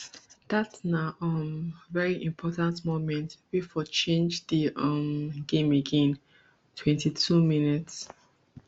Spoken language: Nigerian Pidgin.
dat na um veri important moment wey for change di um game again twenty-two mins